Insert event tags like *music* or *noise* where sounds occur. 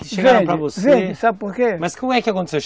*unintelligible* Mas como é que aconteceu?